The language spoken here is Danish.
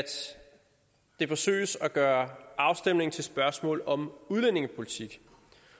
det særlig forsøges at gøre afstemningen til et spørgsmål om udlændingepolitik